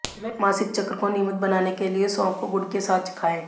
मासिक चक्र को नियमित बनाने के लिए सौंफ को गुड़ के साथ खाएं